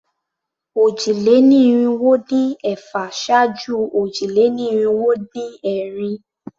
Òjì-lé-ní-irinwó-dín-ẹ̀fà ṣáájú òjì-lé-ní-irinwó-dín-ẹ̀rin.